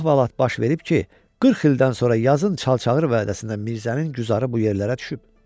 Nə əhvalat baş verib ki, 40 ildən sonra yazın çalçağır vəədəsində Mirzənin güzarı bu yerlərə düşüb.